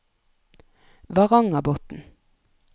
Varangerbotn